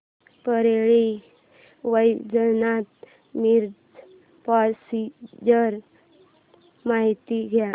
Parli Vaijnath Miraj passenger ची माहिती द्या